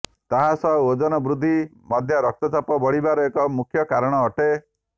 ତାହା ସହ ଓଜନ ବୃଦ୍ଧି ମଧ୍ୟ ରକ୍ତଚାପ ବଢିବାର ଏକ ମୁଖ୍ୟ କାରଣ ଅଟେ